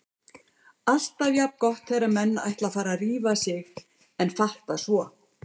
Alltaf jafn gott þegar menn ætla að fara að rífa sig en fatta svo